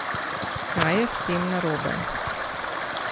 Kaj je s tem narobe?